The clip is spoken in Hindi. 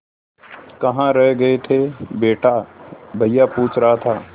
कहाँ रह गए थे बेटा भैया पूछ रहा था